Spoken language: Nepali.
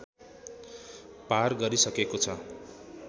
पार गरिसकेको छ